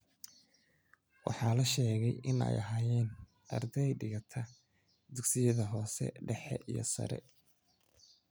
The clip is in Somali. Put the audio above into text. Waxaa la sheegay in ay ahaayeen arday dhigata dugsiyada hoose dhexe iyo sare.